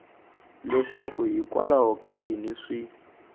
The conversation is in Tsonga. leswaku hikwalaho ka yini swi